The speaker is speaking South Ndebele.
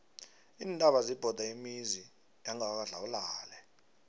iintaba zibhode imizi yangakwadlawulale